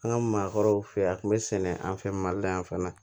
An ka maakɔrɔw fɛ yen a tun bɛ sɛnɛ an fɛ mali la yan fana